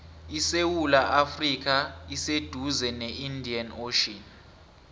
isewula afrika iseduze ne indian ocean